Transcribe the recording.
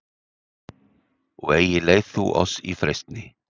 og eigi leið þú oss í freistni